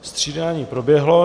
Střídání proběhlo.